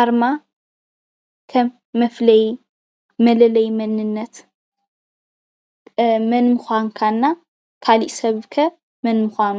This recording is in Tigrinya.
ኣርማ ከም መፍለይ መለለይ መንነት መን ምኳንኳ እና ካሊእ ሰብ ከመን ምኳኑ